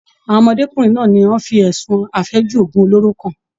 Àwọn ọmọdékunrin náà ni wọ́n fi ẹsùn afẹju òògùn oloro kan.